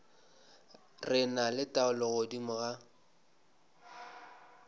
re na taolo godimo ga